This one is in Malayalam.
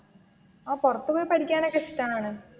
ആഹ് പുറത്തു പോയി പഠിക്കാനൊക്കെ ഇഷ്ടമാണ്.